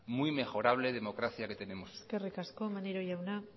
muy mejorable democracia que tenemos eskerrik asko maneiro jauna